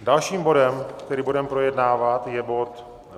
Dalším bodem, který budeme projednávat, je bod